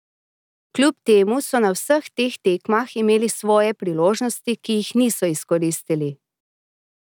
Kljub temu so na vseh teh tekmah imeli svoje priložnosti, ki jih niso izkoristili.